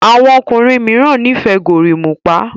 àwọn ọkùnrin míràn n'ifẹ gorimopa